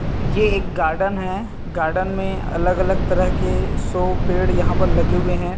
यह एक गार्डन है गार्डन में अलग-अलग तरह के सो पेड़ यहां पर लगे हुए हैं।